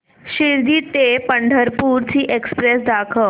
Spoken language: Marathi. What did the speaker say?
शिर्डी ते पंढरपूर ची एक्स्प्रेस दाखव